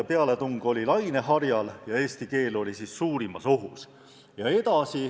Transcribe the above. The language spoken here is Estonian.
– pealetung oli laineharjal ja eesti keel oli suurimas ohus.